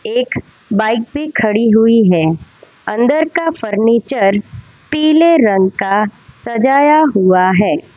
एक बाइक भी खड़ी हुई है अंदर का फर्नीचर पीले रंग का सजाया हुआ है।